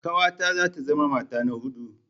Ƙawata za ta zama mata ta huɗu.